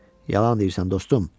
Yalan deyirsən, dostum.